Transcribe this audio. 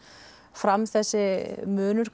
fram þessi munur